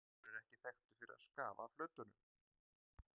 Ólafur er ekki þekktur fyrir að skafa af hlutunum.